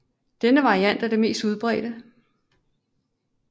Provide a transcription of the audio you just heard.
Denne variant er den mest udbredte